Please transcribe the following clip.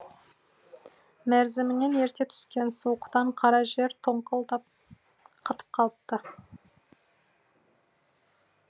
мерзімінен ерте түскен суықтан қара жер тоңқылдап қатып қалыпты